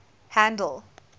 handle